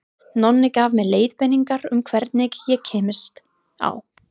Nonni gaf mér leiðbeiningar um hvernig ég kæmist á